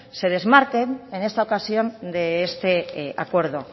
se desmarquen en esta ocasión de este acuerdo